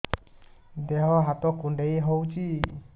ଦେହ ହାତ କୁଣ୍ଡାଇ ହଉଛି